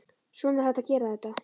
Svona er hægt að gera þetta?